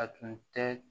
A tun tɛ